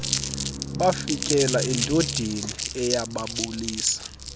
bafikela endodeni eyababulisa